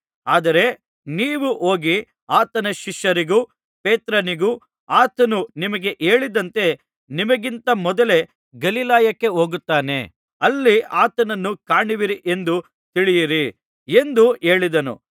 ಆದರೆ ನೀವು ಹೋಗಿ ಆತನ ಶಿಷ್ಯರಿಗೂ ಪೇತ್ರನಿಗೂ ಆತನು ನಿಮಗೆ ಹೇಳಿದಂತೆ ನಿಮಗಿಂತ ಮೊದಲು ಗಲಿಲಾಯಕ್ಕೆ ಹೋಗುತ್ತಾನೆ ಅಲ್ಲಿ ಆತನನ್ನು ಕಾಣುವಿರಿ ಎಂದು ತಿಳಿಸಿರಿ ಎಂದು ಹೇಳಿದನು